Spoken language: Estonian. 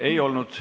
Ei olnud.